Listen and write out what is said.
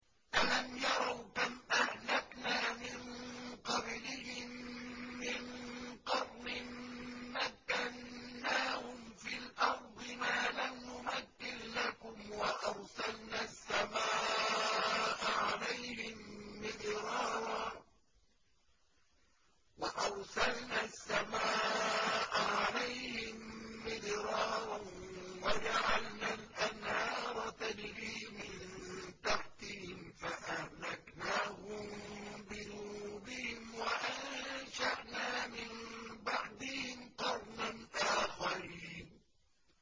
أَلَمْ يَرَوْا كَمْ أَهْلَكْنَا مِن قَبْلِهِم مِّن قَرْنٍ مَّكَّنَّاهُمْ فِي الْأَرْضِ مَا لَمْ نُمَكِّن لَّكُمْ وَأَرْسَلْنَا السَّمَاءَ عَلَيْهِم مِّدْرَارًا وَجَعَلْنَا الْأَنْهَارَ تَجْرِي مِن تَحْتِهِمْ فَأَهْلَكْنَاهُم بِذُنُوبِهِمْ وَأَنشَأْنَا مِن بَعْدِهِمْ قَرْنًا آخَرِينَ